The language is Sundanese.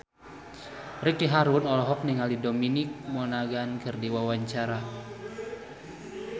Ricky Harun olohok ningali Dominic Monaghan keur diwawancara